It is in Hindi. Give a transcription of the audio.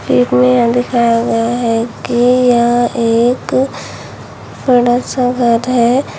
एक में यह दिखाया गया है कि यह एक बड़ा सा घर है।